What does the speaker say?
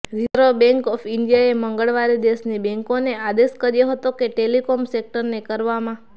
reserve bank of ઇન્ડિયાએ મંગળવારે દેશની બેન્કોને આદેશ કર્યો હતો કે ટેલિકોમ સેક્ટરને કરવામાં